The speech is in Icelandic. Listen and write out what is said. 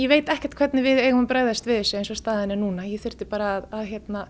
veit ekkert hvernig við eigum að bregðast við þessu eins og staðan er núna ég þyrfti bara að